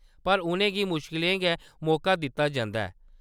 पर, उʼनें गी मुश्कलें गै मौका दित्ता जंदा ऐ।